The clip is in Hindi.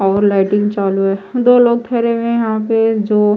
और लाइटिंग चालू है दो लोग धरे हुए यहां पे जो--